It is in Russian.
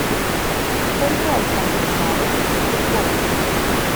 поиграй со мной в навык футбол